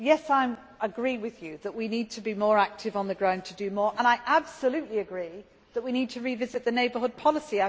I agree with you that we need to be more active on the ground to do more and I absolutely agree that we need to revisit the neighbourhood policy.